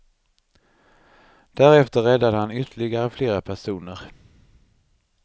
Därefter räddade han ytterligare flera personer.